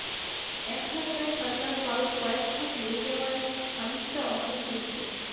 একধাক্কায় ঠাণ্ডার পারদ কয়েক ধাপ নেমে যাওয়ায় খানিকটা অসন্তুষ্ট